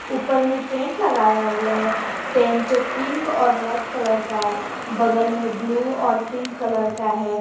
ऊपर में टेंट लगाया हुआ है टेंट पिंक और रेड कलर का है बगल में ब्लू और पिंक कलर का है।